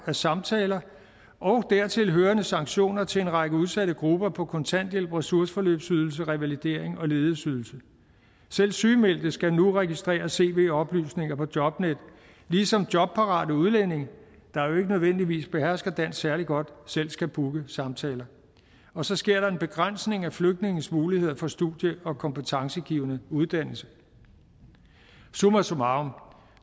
af samtaler og dertilhørende sanktioner til en række udsatte grupper på kontanthjælp ressourceforløbsydelse revalidering og ledighedsydelse selv sygemeldte skal nu registrere cv oplysninger på jobnet ligesom jobparate udlændinge der jo ikke nødvendigvis behersker dansk særlig godt selv skal booke samtaler og så sker der en begrænsning af flygtninges muligheder for studie og kompetencegivende uddannelse summa summarum